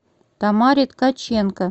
тамаре ткаченко